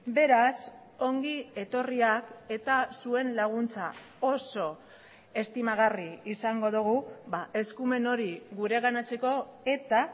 beraz ongi etorriak eta zuen laguntza oso estimagarri izango dugu eskumen hori gureganatzeko eta